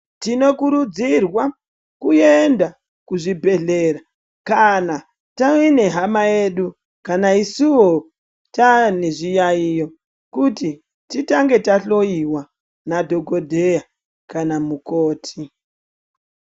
Tinokurudzirwa kuenda kuzvibhedhlera kana tine hama yedu kana isuwo taane zviyaiyo kuti titange tahloyiwa nadhokodheya kana namukoti.